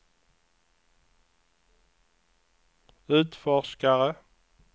utforskare